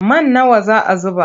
Man nawa za a zuba?